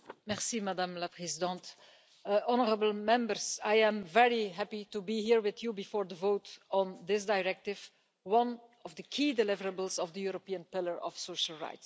Madam President, I am very happy to be here with you before the vote on this directive, one of the key deliverables of the European pillar of social rights.